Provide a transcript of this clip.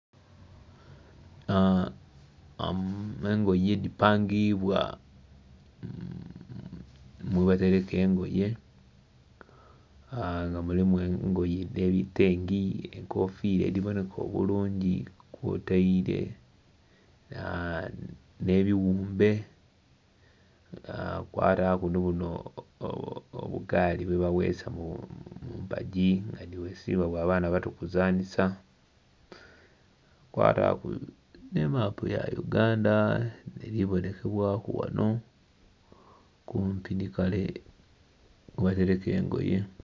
Engoye dhipangibwa mwebatereka engoye nga mulimu engoye dhe bitengi, enkofiira edhiboneka obulungi kwotaire nh'ebiwumbe wataku ni buno bugaali bwe baweesa mu mpagi nga dhiwesibwa bwa baana bato kuzanisa, wataku ne mapu ya Uganda eli bonekebwaku wano kumpi ni kale webatereka engoye